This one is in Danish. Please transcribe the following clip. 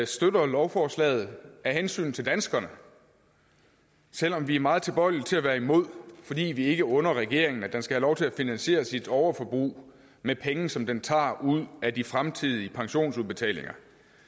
støtter lovforslaget af hensyn til danskerne selv om vi er meget tilbøjelige til at være imod fordi vi ikke under regeringen at den skal have lov til at finansiere sit overforbrug med penge som den tager ud af de fremtidige pensionsudbetalinger